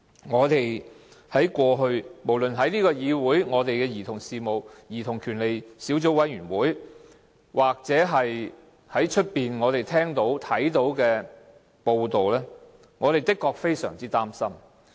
我們在立法會兒童權利小組委員會所聽到的描述或在外間看到的報道，確實也使我們相當擔心。